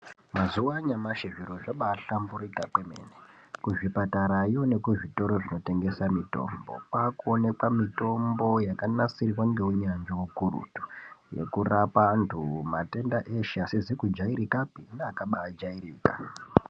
Mazuva anyamashi zviro zvabaahlamburika kwemene. Kuzvipatarayo nekuzvitoro zvinotengesa mitombo kwaakuonekwa mitombo yakanasirwa ngeunyanzvi hukurutu. Yekurapa antu matenda eshe asizi kujairikapi neakabaajairika.